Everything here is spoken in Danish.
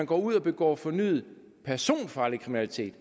går ud og begår fornyet personfarlig kriminalitet